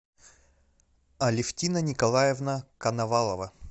алевтина николаевна коновалова